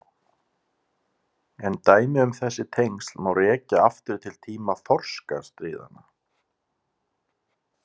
En dæmi um þessi tengsl má rekja aftur til tíma þorskastríðanna.